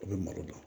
A bɛ malo dɔn